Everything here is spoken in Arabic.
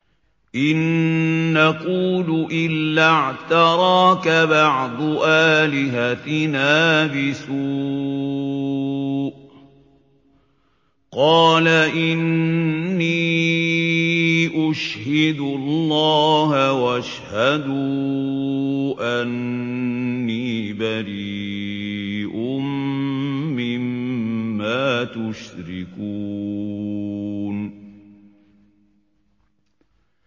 إِن نَّقُولُ إِلَّا اعْتَرَاكَ بَعْضُ آلِهَتِنَا بِسُوءٍ ۗ قَالَ إِنِّي أُشْهِدُ اللَّهَ وَاشْهَدُوا أَنِّي بَرِيءٌ مِّمَّا تُشْرِكُونَ